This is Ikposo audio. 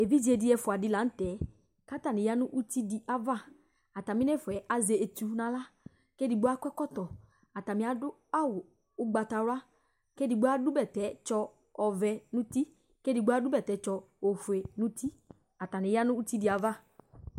Evidze Di ɛfua di laŋtɛKatani ya nʋ uti di ayavaAtami nɛfuɛ azɛ etu naɣlaKedigbo akɔ ɛkɔtɔAtani adʋ awu ugbatawlaKedigbo adʋ bɛtɛtsɔ ɔvɛ nutiKedigbo adʋ bɛtɛtsɔ ofue nutiAtani ya nʋ uti di'ava